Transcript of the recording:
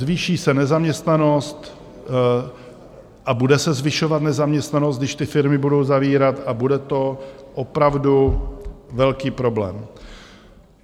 Zvýší se nezaměstnanost a bude se zvyšovat nezaměstnanost, když ty firmy budou zavírat, a bude to opravdu velký problém.